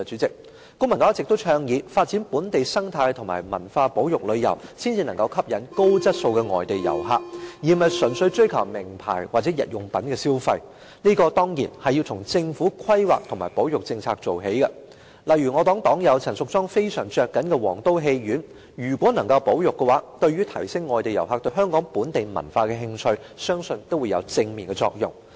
公民黨一直倡議，發展本地生態和文化保育旅遊才能夠吸引高質素的外地遊客，而不是純粹追求名牌或日用品消費，這當然要從政府規劃和保育政策做起，例如我黨友陳淑莊議員非常着緊的皇都戲院如果能夠獲得保育，對於提升外地遊客對香港本地文化的興趣，相信也會有正面的作用。